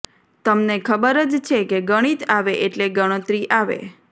તમને ખબર જ છે કે ગણિત આવે એટલે ગણતરી આવે